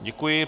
Děkuji.